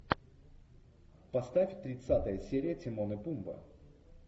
поставь тридцатая серия тимон и пумба